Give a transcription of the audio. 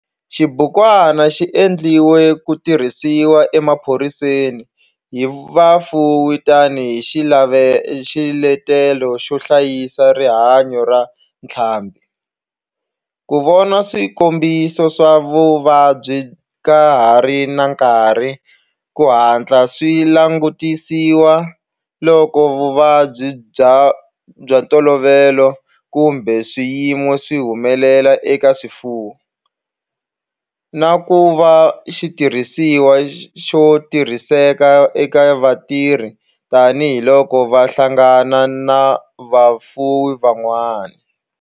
Xibukwana xi endliwe ku tirhisiwa emapurasini hi vafuwi tani hi xiletelo xo hlayisa rihanyo ra ntlhambhi, ku vona swikombiso swa vuvabyi ka ha ri na nkarhi ku hatla swi langutisiwa loko vuvabyi bya ntolovelo kumbe swiyimo swi humelela eka swifuwo, na ku va xitirhisiwa xo tirhiseka eka vatirhi tani hi loko va hlangana na vafuwi van'wana.